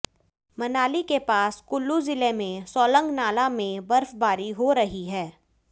मनाली के पास कुल्लू जिले में सोलंग नाला में बर्फबारी हो रही है